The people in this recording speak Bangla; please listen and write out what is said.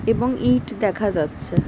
এবং ইট দেখা যাচ্ছে।